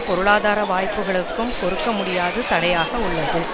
பொருளாதார வாய்ப்புகளுக்கும் பொறுக்க முடியாத தடையாக உள்ளது